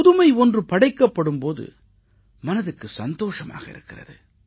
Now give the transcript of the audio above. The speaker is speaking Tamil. புதுமை ஒன்று படைக்கப்படும் போது மனதுக்கு சந்தோஷமாக இருக்கிறது